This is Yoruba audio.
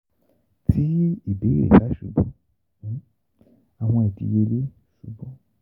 Ti ibeere ba ṣubu, awọn idiyele ṣubu.